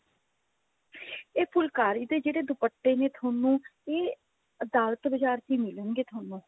ਇਹ ਫੁਲਕਾਰੀ ਦੇ ਦੁਪੱਟੇ ਜਿਹੜੇ ਨੇ ਤੁਹਾਨੂੰ ਇਹ ਅਦਾਲਤ ਬਜ਼ਾਰ ਤੋਂ ਹੀ ਮਿਲਣਗੇ ਤੁਹਾਨੂੰ